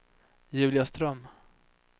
Julia Ström